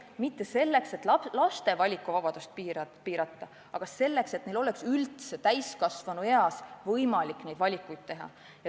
Mitte selleks, et laste valikuvabadust piirata, vaid selleks, et neil oleks täiskasvanueas võimalik valikuid teha.